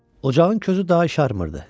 Ocağın közü daha işarmırdı.